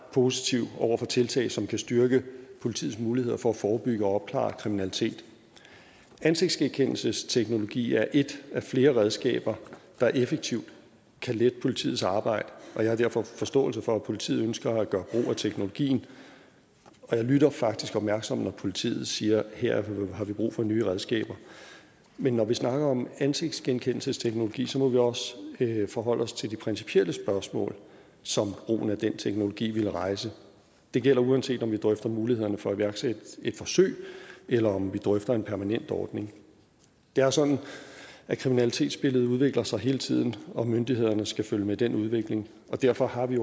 positiv over for tiltag som kan styrke politiets muligheder for at forebygge og opklare kriminalitet ansigtsgenkendelsesteknologi er ét af flere redskaber der effektivt kan lette politiets arbejde og jeg har derfor forståelse for at politiet ønsker at gøre brug af teknologien jeg lytter faktisk opmærksomt når politiet siger at her har vi brug for nye redskaber men når vi snakker om ansigtsgenkendelsesteknologi må vi også forholde os til det principielle spørgsmål som brugen af den teknologi ville rejse det gælder uanset om vi drøfter mulighederne for at iværksætte et forsøg eller om vi drøfter en permanent ordning det er sådan at kriminalitetsbilledet udvikler sig hele tiden og myndighederne skal følge med den udvikling og derfor har vi